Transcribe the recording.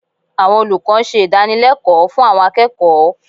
Àwọn olùkọ́ ń ṣe ìdànilẹ́kọ̀ọ́ fún àwọn akẹ́kọ̀ọ́